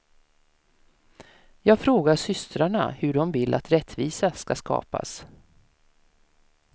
Jag frågar systrarna hur de vill att rättvisa ska skapas.